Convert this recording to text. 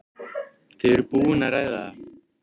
Þau eru búin að ræða það.